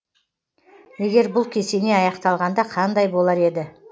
егер бұл кесене аяқталғанда қандай болар еді